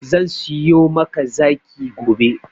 Zan siyo maka zaki gobe.